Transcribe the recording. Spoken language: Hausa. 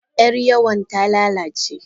Yar yawon ta lalace.